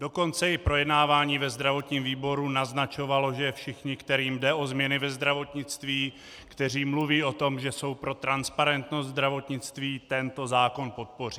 Dokonce i projednávání ve zdravotním výboru naznačovalo, že všichni, kterým jde o změny ve zdravotnictví, kteří mluví o tom, že jsou pro transparentnost zdravotnictví, tento zákon podpoří.